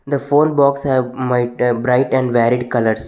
The phone box have might a bright and varied colours.